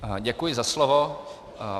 Děkuji za slovo.